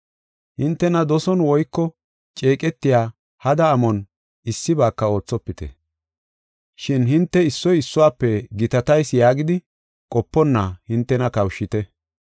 Hintena doson woyko ceeqetiya hada amon issibaaka oothopite. Shin hinte issoy issuwafe gitatayis yaagidi qoponna hintena kawushite.